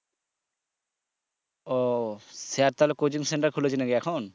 ও sir তাহলে coaching center খুলেছে নাকি এখন?